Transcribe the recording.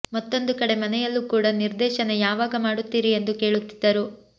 ಮತ್ತೊಂದು ಕಡೆ ಮನೆಯಲ್ಲೂ ಕೂಡ ನಿರ್ದೇಶನ ಯಾವಾಗ ಮಾಡುತ್ತೀರಿ ಎಂದು ಕೇಳುತ್ತಿದ್ದರು